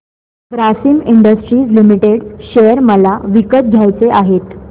Grasim industries limited share मला विकत घ्यायचे आहेत